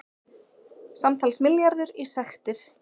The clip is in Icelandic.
Samtals milljarður í sektir